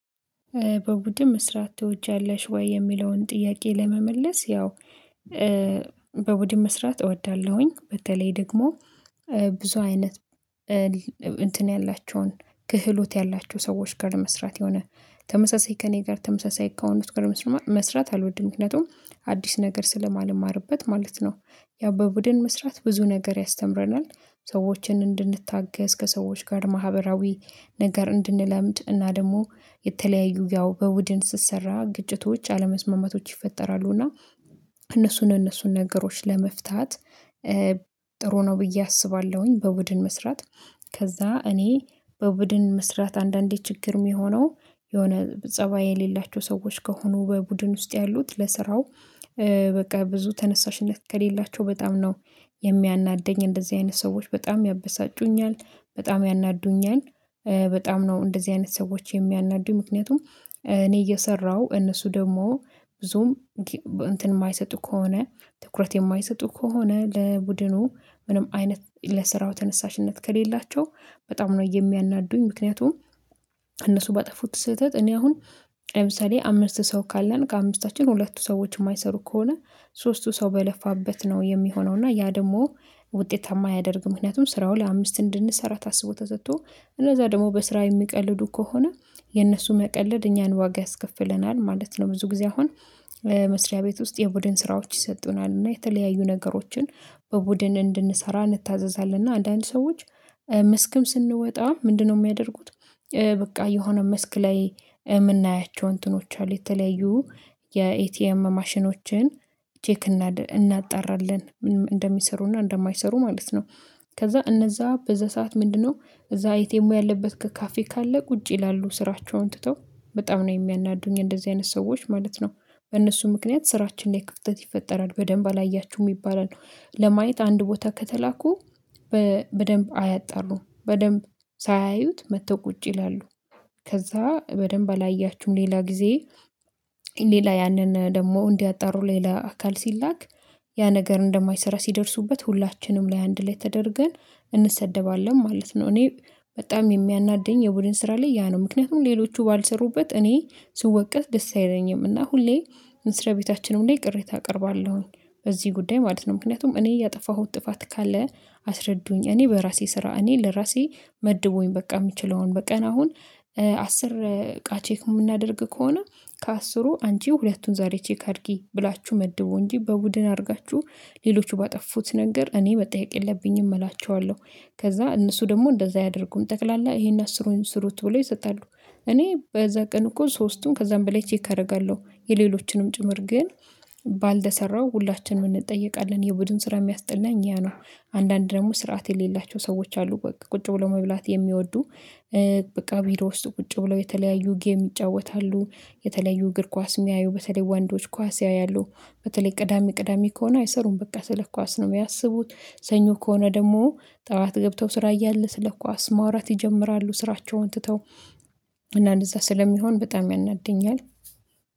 በቡድን መስራት ትወጃለሽ ወይ? የሚለውን ጥያቄ ለመመለስ ያው በቡድን መስራት እወዳለሁኝ በተለይ ደግሞ ብዙ አይነት እንትን ያላቸውን ክህሎት ያላቸው ሰዎች ጋር መስራት የሆነ ተመሳሳይ ከእኔ ጋር ተመሳሳይ ከሆኑት ጋር መስራት አልወድም ምክንያቱም አዲስ ነገር ስለማልማርበት ማለት ነው። ያ በቡድን መስራት ብዙ ነገር ያስተምረናል ሰዎችን እንድንታገዝ ከሰዎች ጋር ማህበራዊ ነገር እንድንለምድ እና ደግሞ የተለያዩ ያው በቡድን ስትሰራ ግጭቶች አለመስማማቶች ይፈጠራሉ እና እነሱን እነሱን ነገሮች ለመፍታት ጥሩ ነው ብዬ አስባለሁኝ። በቡድን መስራት ከዛ እኔ በቡድን መስራት አንዳንዴ ችግር የሚሆነው የሆነ ፀባይ የሌላቸው ሰዎች ከሆኑ በቡድን ውስጥ ያሉት ለስራው በቃ ብዙ ተነሳሽነት ከሌላቸው በጣም ነው የሚያናደኝ እንደዚህ አይነት ሰዎች በጣም ያበሳጩኛል በጣም ያናዱኛል። በጣም ነው እንደዚህ አይነት ሰዎች የሚያናዱኝ ምክንያቱም እኔ እየሰራሁ እነሱ ደግሞ ብዙም እንትን የማይሰጡ ከሆነ ትኩረት የማይሰጡ ከሆነ ለቡድኑ ምንም አይነት ለስራው ተነሳሽነት ከሌላቸው በጣም ነው የሚያናዱኝ። ምክንያቱም እነሱ ባጠፉት ስህተት እኔ አሁን ለምሳሌ አምስት ሰው ካለን ከአምስታችን ሁለቱ ሰዎች የማይሰሩ ከሆነ ሶስቱ ሰው በለፋበት ነው የሚሆነው እና ያ ደግሞ ውጤታማ አደርግም ምክንያቱም ስራው ለአምስት እንድንሰራ ታስቦ ተሰጥቶ እነዛ ደግሞ በስራ የሚቀልዱ ከሆነ የነሱ መቀለድ እኛን ዋጋ ያስከፍለናል ማለት ነው። ብዙ ጊዜ አሁን መስሪያ ቤት ውስጥ የቡድን ስራዎች ይሰጡናል እና የተለያዩ ነገሮችን በቡድን እንድንሰራ እንታዘዛለን እና አንዳንድ ሰዎች መስክም ስንወጣ ምንድነው የሚያደርጉት? በቃ የሆነ ምስክ ላይ የምናያቸው እንትኖች አሉ የተለዩ የኤቲኤም ማሽኖችን ቼክ እናጣራለን እንደሚሰሩና እንደማይሰሩ ማለት ነው። ከዛ እነዛ በዛ ሰዓት ምንድነው እዛ ኤቴሙ ያለበት ከካፌ ካለ ቁጭ ይላሉ ስራቸውን ትተው በጣም ነው የሚያናዱኝ እንደዚህ አይነት ሰዎች ማለት ነው። በእነሱ ምክንያት ስራችን ላይ ክፍተት ይፈጠራል በደንብ አላያችሁም ይባላል ለማየት አንድ ቦታ ከተላኩ በደንብ አያጣሩም በደንብ ሳያዩት መጥተው ቁጭ ይላሉ። ከዛ በደንብ አላያችሁም ሌላ ጊዜ ሌላ ያንን ደግሞ እንዲያጣሩ ሌላ አካል ሲላክ ያ ነገር እንደማይሰራ ሲደርሱበት ሁላችንም ለአንድ ላይ ተደርገን እንሰደባለን ማለት ነው። እኔ በጣም የሚያናደኝ የቡድን ስራ ላይ ያ ነው ምክንያቱም ሌሎቹ ባልሰሩበት እኔ ስወቀት ደስ አይለኝምና ሁሌ እንስራ ቤታችንም ላይ ቅሬታ አቀርባለሁኝ በዚህ ጉዳይ ማለት ነው። ምክንያቱም እኔ እያጠፋሁት ጥፋት ካለ አስረዱኝ እኔ በራሴ ስራ እኔ ለራሴ መድቡኝ በቃ የምችለውን በቀን አሁን አስር እቃ ቼክ የምናደርግ ከሆነ ከአስሩ አንቺ ሁለቱን ዛሬ ቼክ አድርጊ ብላችሁ መድቡ እንጂ በቡድን አድርጋችሁ ሌሎቹ ባጠፉት ነገር እኔ መጠየቅ የለብኝም እላቸዋለሁ። ከዛ እነሱ ደግሞ እንደዛ አያደርጉም ጠቅላላ ይሄን አስሩንም ስሩት ብለው ይሰጣሉ እኔ በዛ ቀን እኮ ሶስቱም ከዛም በላይ ቼክ አደርጋለሁ የሌሎችንም ጭምር ግን ባልተሰራው ሁላችንም እንጠየቃለን የቡድን ስራ የሚያስጠላ እኛ ነው። አንዳንድ ደግሞ ስርዓት የሌላቸው ሰዎች አሉ በቃ ቁጭ ብሎ መብላት የሚወዱ በቃ ቢሮ ውስጥ ቁጭ ብለው የተለያዩ ጌም ይጫወታሉ የተለያዩ እግር ኳስ የሚያዩ በተለይ ወንዶች ኳስ ያያሉ። በተለይ ቅዳሜ ቅዳሜ ከሆነ አይሰሩም በቃ ስለ ኳስ ነው ያስቡት ሰኞ ከሆነ ደግሞ ጠዋት ገብተው ስራ እያለ ስለ ኳስ ማውራት ይጀምራሉ ስራቸውን ትተው እና እንደዛ ስለሚሆን በጣም ያናድደኛል